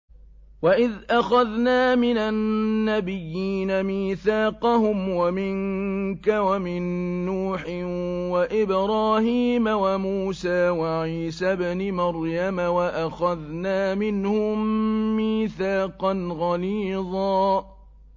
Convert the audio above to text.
وَإِذْ أَخَذْنَا مِنَ النَّبِيِّينَ مِيثَاقَهُمْ وَمِنكَ وَمِن نُّوحٍ وَإِبْرَاهِيمَ وَمُوسَىٰ وَعِيسَى ابْنِ مَرْيَمَ ۖ وَأَخَذْنَا مِنْهُم مِّيثَاقًا غَلِيظًا